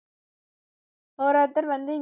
ஒரு ஒருத்தர் வந்து